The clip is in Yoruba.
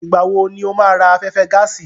Ìgbà wo ni o máa ra afẹ́fẹ́ gáàsì?